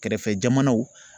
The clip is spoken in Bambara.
Kɛrɛfɛ jamanaw